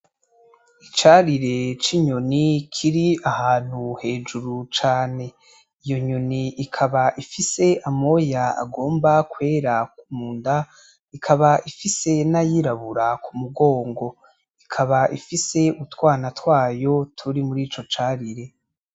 Icarire c'inyoni Kiri ahantu hejuru cane, iyo nyoni ikaba ifise amoya agomba kwera munda, ikaba ifise n'ayirabura k'umugongo ikaba ifise utwana rwayo turi murico carire.